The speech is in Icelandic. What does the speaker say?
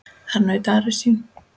Þar naut Ari sín.